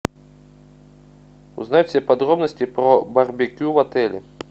узнать все подробности про барбекю в отеле